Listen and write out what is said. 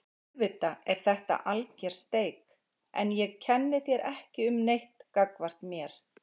Auðvitað er þetta alger steik en ég kenni þér ekki um neitt gagnvart mér.